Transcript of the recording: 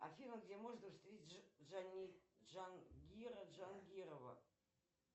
афина где можно встретить джангира джангирова